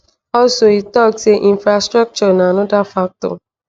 also e tok say infrastructure na anoda factor.